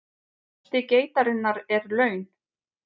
Losti geitarinnar er laun